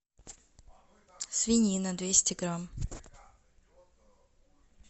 свинина двести грамм